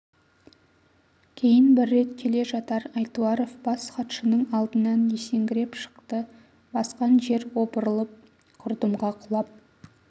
кейін бір рет келе жатар айтуаров бас хатшының алдынан есеңгіреп шықты басқан жер опырылып құрдымға құлап